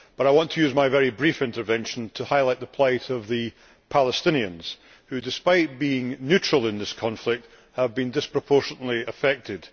However, I want to use my very brief intervention to highlight the plight of the Palestinians, who, despite being neutral in this conflict, have been disproportionately affected.